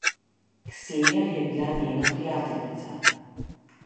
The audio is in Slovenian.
Ksenija je bila njena prijateljica.